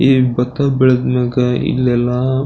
ಈ ಭತ್ತ ಬೆಳೆದ್ ಮ್ಯಾಗೆ ಇಲ್ಲೆಲ್ಲಾ--